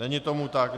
Není tomu tak.